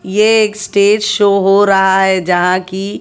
ये एक stage show हो रहा है यहां की--